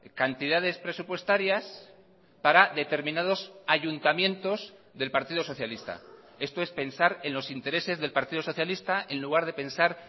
cantidades presupuestarias para determinados ayuntamientos del partido socialista esto es pensar en los intereses del partido socialista en lugar de pensar